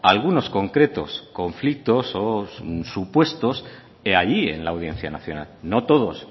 algunos concretos conflictos o supuestos allí en la audiencia nacional no todos